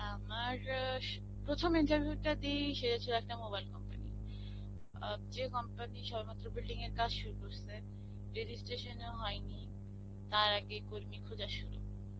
আমার এ প্রথম interview টা দিই সেটা ছিল একটা mobile company. অব যে যে company সবেমাত্র building এর কাজ শুরু করেছে. registration ও হয়নি. তার আগেই কর্মী খোজা শুরু.